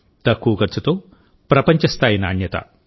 తక్కువ ఖర్చుతోప్రపంచ స్థాయి నాణ్యత